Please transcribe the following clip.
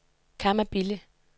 Kamma Bille